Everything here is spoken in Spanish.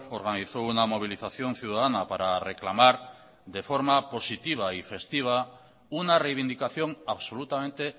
organizó una movilización ciudadana para reclamar de forma positiva y festiva una reivindicación absolutamente